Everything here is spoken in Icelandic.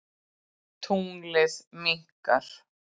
Tunglið minnkar.